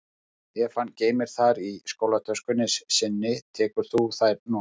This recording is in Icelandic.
Ef hann geymir þær í skólatöskunni sinni tekur þú þær núna